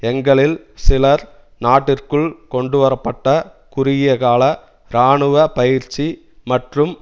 எங்களில் சிலர் நாட்டிற்குள் கொண்டுவர பட்ட குறுகியகால இராணுவ பயிற்சி மற்றும்